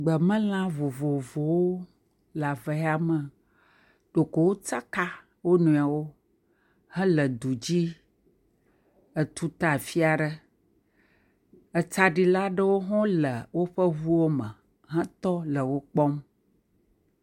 Gbemelã vovovowo le ave ya me. Ɖeko wo tsaka wo nɔewo hele du dzi etuta afi aɖe. Etsaɖila aɖewo hã le woƒe ŋuwo me hetɔ le wo kpɔm.